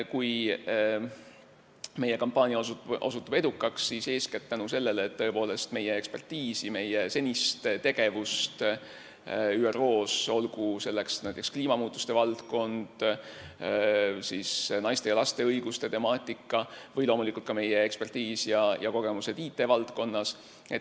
Kui meie kampaania osutub edukaks, siis põhjus on eeskätt meie ekspertiisis, meie senises tegevuses ÜRO-s, olgu selleks näiteks kliimamuutuste valdkond, naiste ja laste õiguste temaatika või ka meie kogemused IT-valdkonnas.